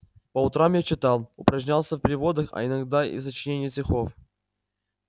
по утрам я читал упражнялся в переводах а иногда и в сочинении стихов